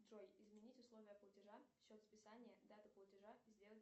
джой изменить условия платежа счет списания дату платежа сделать